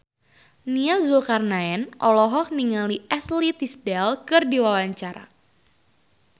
Nia Zulkarnaen olohok ningali Ashley Tisdale keur diwawancara